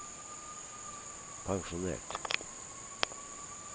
pensjonert